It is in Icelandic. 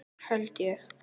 Held ég.